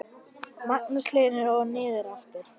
Magnús Hlynur: Og niður aftur?